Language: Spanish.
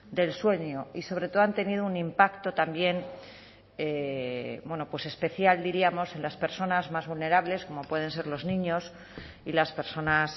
del sueño y sobre todo han tenido un impacto también especial diríamos en las personas más vulnerables como pueden ser los niños y las personas